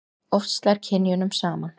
Oft slær kynjunum saman.